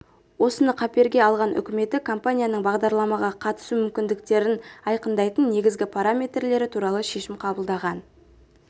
осыны қаперге алған үкіметі компанияның бағдарламаға қатысу мүмкіндіктерін айқындайтын негізгі параметрлері туралы шешім қабылдаған